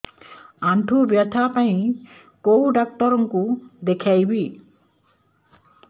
ଆଣ୍ଠୁ ବ୍ୟଥା ପାଇଁ କୋଉ ଡକ୍ଟର ଙ୍କୁ ଦେଖେଇବି